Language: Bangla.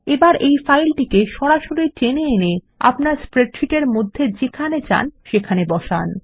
এখন সরাসরি ড্র্যাগ সরাসরি টেনে এনে আপনার স্প্রেডশীটের মধ্যে যেখানে চান সেখানে বসান